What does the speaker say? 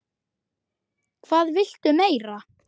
Hvað viltu meira?